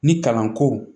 Ni kalanko